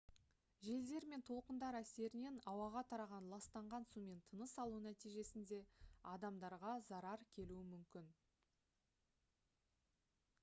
желдер мен толқындар әсерінен ауаға тараған ластанған сумен тыныс алу нәтижесінде адамдарға зарар келуі мүмкін